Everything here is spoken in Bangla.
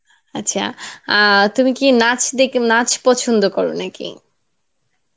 আচ্ছা, আহ তুমি কি নাচ দেখ নাচ পছন্দ করো নাকি?